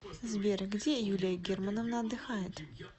сбер где юлия германовна отдыхает